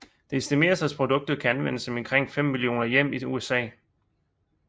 Det estimeres at produktet kan anvendes i omkring 50 millioner hjem i USA